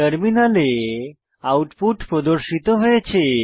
টার্মিনালে আউটপুট প্রদর্শিত হয়েছে